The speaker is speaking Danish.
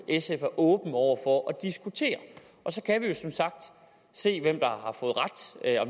sf er åben over for at diskutere at se hvem